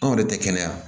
Anw yɛrɛ tɛ kɛnɛya